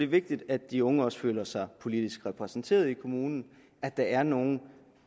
vigtigt at de unge også føler sig politisk repræsenteret i kommunen og at der er nogle